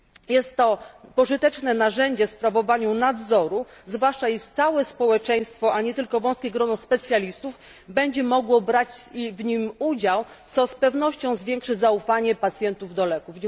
Jest to pożyteczne narzędzie w sprawowaniu nadzoru, zwłaszcza jeśli całe społeczeństwo, a nie tylko wąskie grono specjalistów będzie mogło brać w nim udział, co z pewnością zwiększy zaufanie pacjentów do leków.